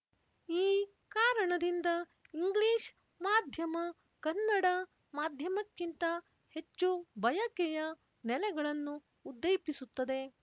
ಈ ಕಾರಣದಿಂದ ಇಂಗ್ಲೀಷ್ ಮಾಧ್ಯಮ ಕನ್ನಡ ಮಾಧ್ಯಮಕ್ಕಿಂತ ಹೆಚ್ಚು ಬಯಕೆಯ ನೆಲೆಗಳನ್ನು ಉದ್ದೇಪಿಸುತದೆ